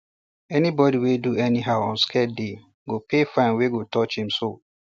anybody wey do anyhow on sacred day go pay fine wey go touch im soul